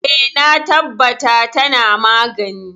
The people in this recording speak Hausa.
E, na tabbata tana magani.